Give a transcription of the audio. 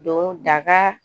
Don daga